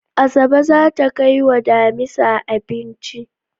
Asabe zata kai wa damisa abinci